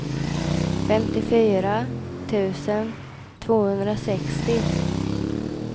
femtiofyra tusen tvåhundrasextio